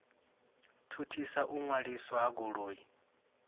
thuthisa u ṅwaliswa ha goloi